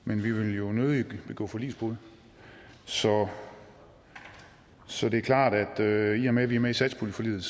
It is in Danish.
men vi vil jo nødig begå forligsbrud så så det er klart at i og med at vi er med i satspuljeforliget